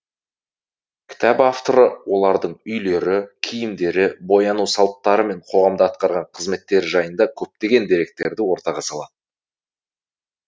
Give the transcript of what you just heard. кітап авторы олардың үйлері киімдері бояну салттары мен қоғамда атқарған қызметтері жайында көптеген деректерді ортаға салады